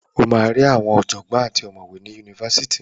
Ó máa ri ọ̀jọ̀gbọ́ àti àwọn ọ̀mọ̀wé ni Yunifásitì.